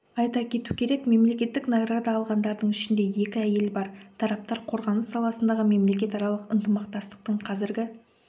айта кету керек мемлекеттік награда алғандардың ішінде екі әйел бар тараптар қорғаныс саласындағы мемлекетаралық ынтымақтастықтың қазіргі